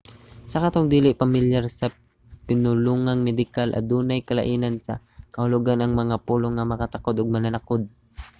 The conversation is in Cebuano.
sa katong dili pamilyar sa pinulungang medikal adunay kalainan sa kahulogan ang mga pulong nga makatakod ug mananakod